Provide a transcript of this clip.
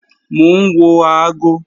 Mò ń wo aago